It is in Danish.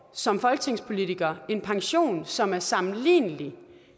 som folketingspolitiker en pension som er sammenlignelig